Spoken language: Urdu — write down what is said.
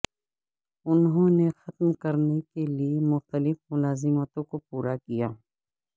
انہوں نے ختم کرنے کے لئے مختلف ملازمتوں کو پورا کیا